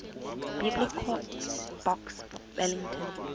biblecor box wellington